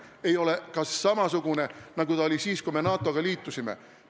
Ei ole ka samasugune, nagu ta oli siis, kui me NATO-ga liitusime.